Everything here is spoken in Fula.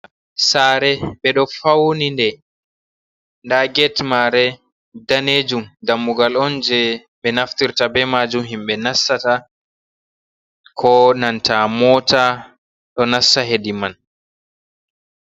Sare ɓeɗo fauni de nda get mare danejum, dammugal on je ɓe naftirta be majum himɓe nasata, ko nanta mota ɗo nassa hedi man.